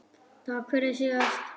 Takk fyrir síðast?